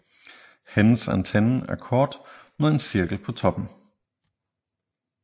Hendes antenne er kort med en cirkel på toppen